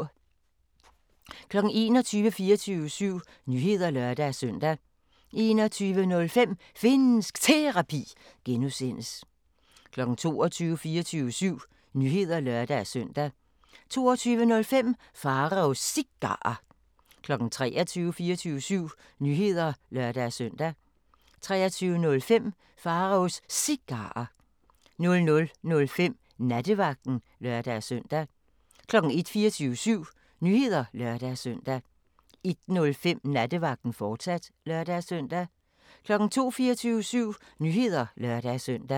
21:00: 24syv Nyheder (lør-søn) 21:05: Finnsk Terapi (G) 22:00: 24syv Nyheder (lør-søn) 22:05: Pharaos Cigarer 23:00: 24syv Nyheder (lør-søn) 23:05: Pharaos Cigarer 00:05: Nattevagten (lør-søn) 01:00: 24syv Nyheder (lør-søn) 01:05: Nattevagten, fortsat (lør-søn) 02:00: 24syv Nyheder (lør-søn)